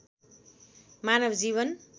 मानव जीवन